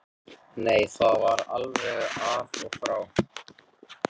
Nei, það var alveg af og frá.